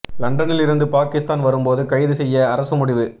லண்டனில் இருந்து பாகிஸ்தான் வரும் போது கைது செய்ய அரசு முடிவு